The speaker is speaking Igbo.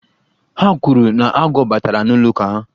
Ha kwuru na agwọ batara n'ụlọ ụka ha.